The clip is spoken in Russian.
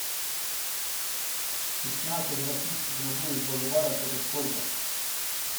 пятнадцать российских рублей в боливарах это сколько